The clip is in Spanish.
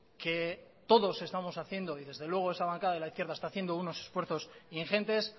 que todos estamos haciendo y desde luego esa bancada de la izquierda está haciendo unos esfuerzos ingentes